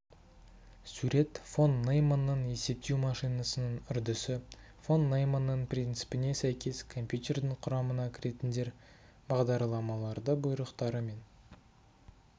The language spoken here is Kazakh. сурет фон нейманның есептеу машинасының үрдісі фон нейманның принципіне сәйкес компьютердің құрамына кіретіндер бағдардамалардығ бұйрықтары мен